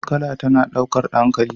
Jar kala tana daukar hankali.